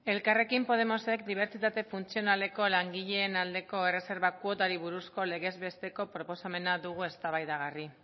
elkarrekin podemosek dibertsitate funtzionaleko langileen aldeko erreserba kuotari buruzko legez besteko proposamena dugu eztabaidagarri